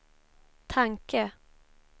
tanke